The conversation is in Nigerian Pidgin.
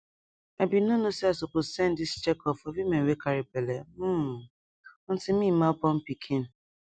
i be no know say i suppose send this checkup for women wey carry belle hmm until me ma born pikin